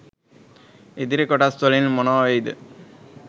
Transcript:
ඉදිරි කොටස් වලින් මොනා වෙයිද